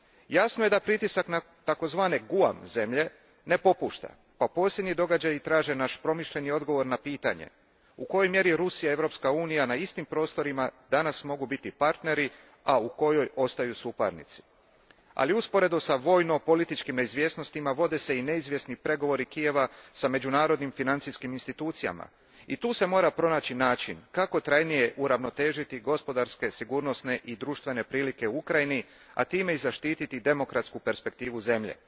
Jasno je da pritisak na takozvane GUAM zemlje ne popušta pa posljednji događaji traže naš promišljen odgovor na pitanje u kojoj mjeri Rusija i Europska Unija na istim prostorima danas mogu biti partneri a u kojoj ostaju suparnici. Ali usporedo s vojno političkim neizvjesnostima vode se i neizvjesni pregovori Kijeva sa međunarodnim financijskim institucijama i tu se mora pronaći način kako trajnije uravnotežiti gospodarske sigurnosne i društvene prilike u Ukrajini, a time i zaštititi i demokratsku perspektivu zemlje